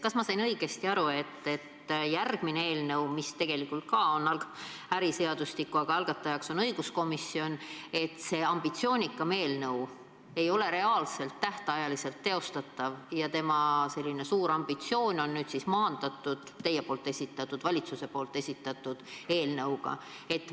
Kas ma sain õigesti aru, et järgmine eelnõu, mis tegelikult on ka äriseadustiku, aga mille algataja on õiguskomisjon, see ambitsioonikam eelnõu ei ole reaalselt tähtajaks teostatav ja tema selline suur ambitsioon on maandatud teie esitatud, valitsuse esitatud eelnõuga?